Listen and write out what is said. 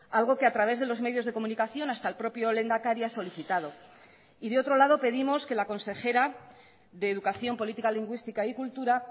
algo que a través de los medios de comunicación hasta el propio lehendakari ha solicitado y de otro lado pedimos que la consejera de educación política lingüística y cultura